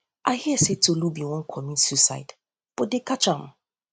i hear say tolu bin wan comit suicide but they catch am